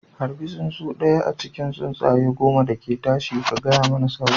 Harbi tsuntsu ɗaya a cikin tsuntsaye goma da ke tashi, ka gaya mani sauran